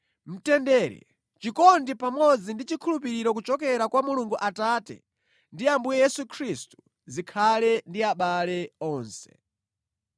Mtendere, chikondi pamodzi ndi chikhulupiriro kuchokera kwa Mulungu Atate ndi Ambuye Yesu Khristu zikhale ndi abale onse.